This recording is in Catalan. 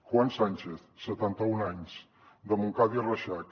juan sánchez setanta un anys de montcada i reixac